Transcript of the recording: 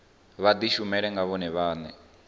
vha dishumele nga vhone vhane